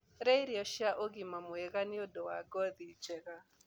Rĩa irio cia ũgima mwega nĩũndũ wa ngothi njega